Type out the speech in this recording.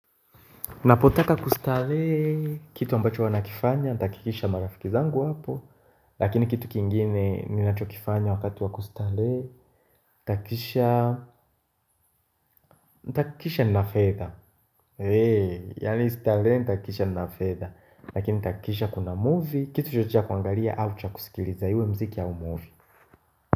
Napotaka kustarehe kitu ambacho huwa nakifanya, tahakikisha marafiki wangu wapo Lakini kitu kingine ninachokifanya wakatu wa kustarehe tahakisha, takisha na fedha Eee, yaani istarehe, tahakikisha nina fedha Lakini tahakikisha kuna movie, kitu cha kwangalia au chakusikiliza iwe mziki au movie.